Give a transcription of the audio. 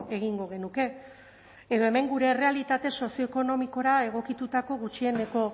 egingo genuke edo hemen gure errealitate sozioekonomikora egokitutako gutxieneko